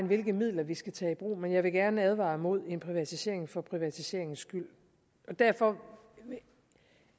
hvilke midler vi skal tage i brug men jeg vil gerne advare mod en privatisering for privatiseringens skyld derfor vil